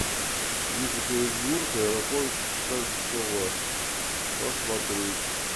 екатеринбург аэропорт кольцово посмотреть